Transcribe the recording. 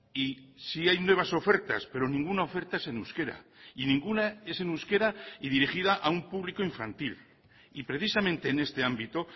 y sí hay nuevas ofertas pero ninguna oferta es en euskera y ninguna es en euskera y dirigida a un público infantil y precisamente en este ámbito